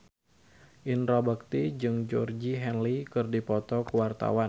Indra Bekti jeung Georgie Henley keur dipoto ku wartawan